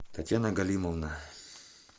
татьяна галимовна